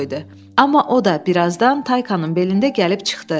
Amma o da birazdan Taykanın belində gəlib çıxdı.